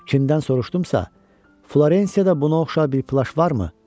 Kimdən soruşdumsa, Florensiyada buna oxşar bir plaş varmı?